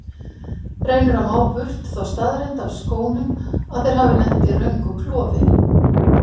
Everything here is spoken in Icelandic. Reynir að má burt þá staðreynd af skónum að þeir hafi lent í röngu klofi.